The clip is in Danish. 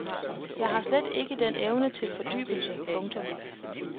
Jeg har slet ikke den evne til fordybelse. punktum